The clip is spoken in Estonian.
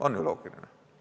On ju loogiline?